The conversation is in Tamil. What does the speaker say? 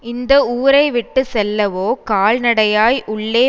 இந்த ஊரைவிட்டு செல்லவோ கால்நடையாய் உள்ளே